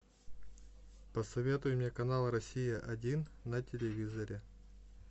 посоветуй мне канал россия один на телевизоре